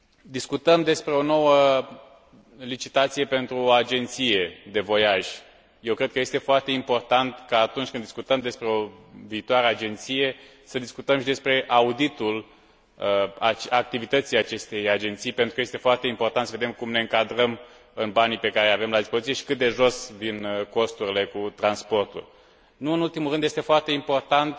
Discutăm despre o nouă licitație pentru o agenție de voiaj, eu cred că este foarte important ca atunci când discutăm despre o viitoare agenție, să discutăm și despre auditul activității acestei agenții, pentru că este foarte important să vedem cum ne încadrăm în banii pe care îi avem la dispoziție și cât de jos din costurile cu transporturi. Nu în ultimul rând, este foarte important